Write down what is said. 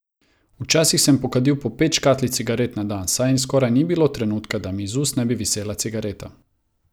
Včasih sem pokadil po pet škatlic cigaret na dan, saj skoraj ni bilo trenutka, da mi iz ust ne bi visela cigareta.